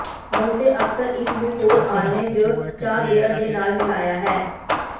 ਬਹੁਤੇ ਅਕਸਰ ਇਸ ਨੂੰ ਹੋਰ ਆਲ੍ਹਣੇ ਜ ਚਾਹ ਬੀਅਰ ਦੇ ਨਾਲ ਮਿਲਾਇਆ ਹੈ